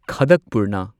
ꯈꯥꯗꯛꯄꯨꯔꯅ